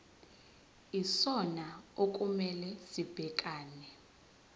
yisona okumele sibhekane